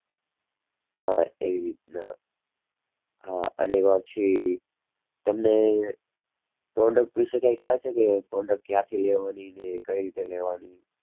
હા એવી રીતના હા અને પછી તમને product વિશે કઈ ખ્યાલ છે કે product ક્યાંથી લેવાની ને કઈ રીતે લેવાની.